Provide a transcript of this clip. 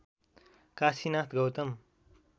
Kashinath Gautam